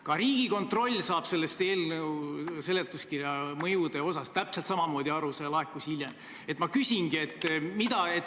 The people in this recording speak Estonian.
Ka Riigikontroll saab eelnõu seletuskirja mõjuosast täpselt samamoodi aru, nende hinnang laekus hiljem.